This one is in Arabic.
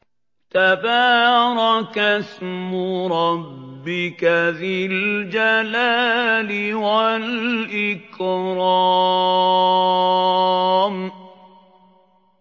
تَبَارَكَ اسْمُ رَبِّكَ ذِي الْجَلَالِ وَالْإِكْرَامِ